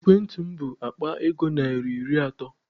Ekwentị m bụ Akpa ego narị iri atọ.